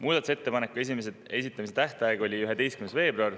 Muudatusettepanekute esitamise tähtaeg oli 11. veebruar.